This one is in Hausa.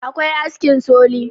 akwai askin soli